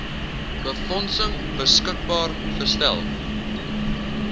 befondsing beskikbaar gestel